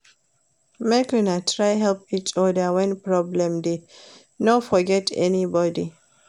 Make una try help each oda wen problem dey, no forget anybodi.